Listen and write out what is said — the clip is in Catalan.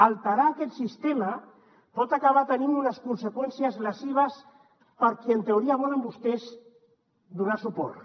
alterar aquest sistema pot acabar tenint unes conseqüències lesives per qui en teoria volen vostès donar suport